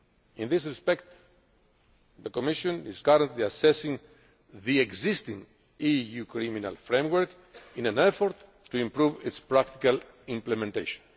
In this respect, the Commission is currently assessing the existing EU criminal framework in an effort to improve its practical implementation.